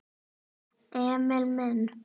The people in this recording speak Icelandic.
Emil minn!